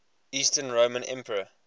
eastern roman emperor